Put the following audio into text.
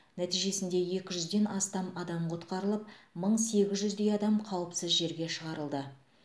нәтижесінде екі жүзден астам адам құтқарылып мың сегіз жүздей адам қауіпсіз жерге шығарылды